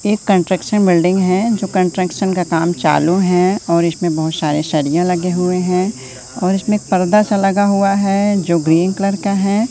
एक construction building है जो कंट्रक्शन का काम चालू है और इसमें बहोत सारे सरिया लगे हुए हैं और इसमें पर्दा सा लगा हुआ है जो ग्रीन कलर का है।